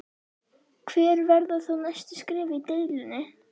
Hver verða þá næstu skref í deilunni?